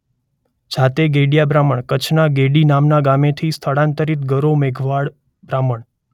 જાતે ગેડિયા બ્રાહ્મણ કચ્છના ગેડી નામના ગામેથી સ્થળાંતરિત ગરો મેઘવાળ બ્રાહ્મણ .